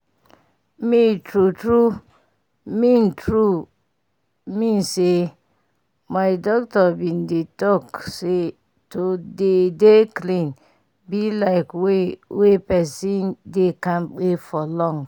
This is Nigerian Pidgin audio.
me true true mean true mean say my doctor bin talk say to dey dey clean bi like way wey pesin dey kampe for long